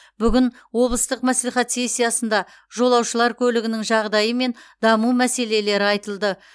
бүгін облыстық мәслихат сессиясында жолаушылар көлігінің жағдайы мен даму мәселелері айтылды